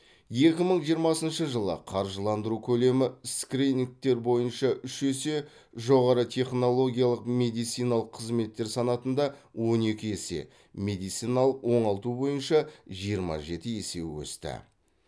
екі мың жиырмасыншы жылы қаржыландыру көлемі скринингтер бойынша үш есе жоғары технологиялық медициналық қызметтер санатында он екі есе медициналық оңалту бойынша жиырма жеті есе өсті